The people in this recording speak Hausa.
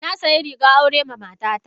Na sayi rigar aure ma mata ta.